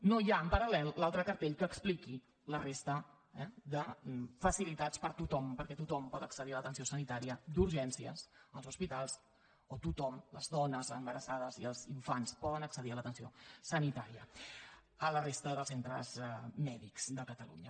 no hi ha en paral·lel l’altre cartell que expliqui la resta eh de facilitats per a tothom perquè tothom pot accedir a l’atenció sanitària d’urgències als hospitals o tothom les dones embarassades i els infants poden accedir a l’atenció sanitària a la resta dels centres mèdics de catalunya